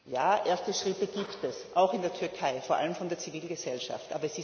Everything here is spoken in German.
Ja, erste Schritte gibt es, auch in der Türkei, vor allem von der Zivilgesellschaft.